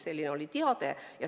Selline oli teade.